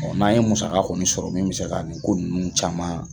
Ɔ n'an ye musaka kɔni sɔrɔ min bɛ se ka nin ko nunnu caman